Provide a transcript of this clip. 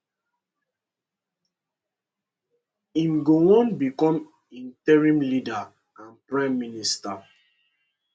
im go wan become interim leader and prime minister